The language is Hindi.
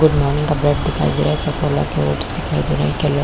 गुड मॉर्निंग का ब्रेड दिखाई दे रहा है सफोला का ओट्स दिखाई दे रहा है।